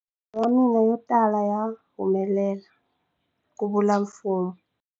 Milorho ya mina yotala ya humelela, ku vula Fuma.